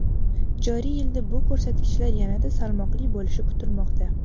Joriy yilda bu ko‘rsatkichlar yanada salmoqli bo‘lishi kutilmoqda.